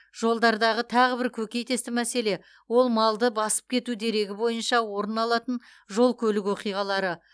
жолдардағы тағы бір көкейтесті мәселе ол малды басып кету дерегі бойынша орын алатын жол көлік оқиғалары